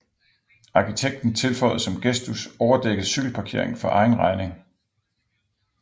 Arkitekten tilføjede som gestus overdækket cykelparkering for egen regning